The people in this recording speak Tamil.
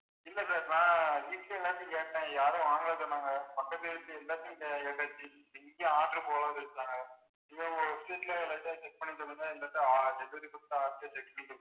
இல்ல sir நான் வீட்டுல எல்லார்கிட்டையும் கேட்டேன் யாரும் வாங்கலைன்னு சொன்னாங்க பக்கத்து வீட்டுலயும் எல்லாத்துக்கிட்டையும் கே~ கேட்டாச்சு இங்க order சொன்னாங்க. இங்க ஒரு street எல்லார்கிட்டயும் check பண்ணி சொல்லுங்க இல்லாட்டா delivery கொடுத்த ஆள் கிட்ட check பண்ணி சொல்லுங்க.